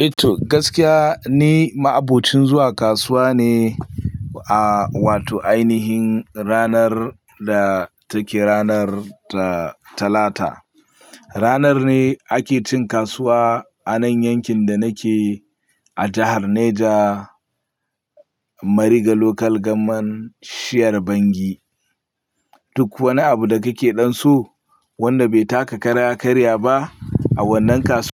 Ehh to gaskiya ni, ma abocin zuwa kasuwa ne a wato ainihin ranar da take ranar Talata. Ranar ne ake cin kasuwa a nan yankin da nake a jahar Neja, Mariga Local Government, shiyar Bangi. Duk wani abu da kake ɗan so wanda bai taka kara ya karya ba a wannan kasu